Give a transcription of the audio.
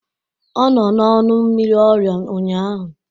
Ọ nọ n'ọnụ mmiri ọrịa ụnyaahụ